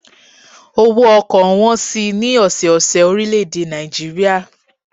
Owó ọkọ̀ ń wọn si ní ọ̀sọ́ ọ̀sẹ̀ orílè èdè Nàìjíríà